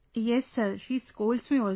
Yes Sir, she scolds me also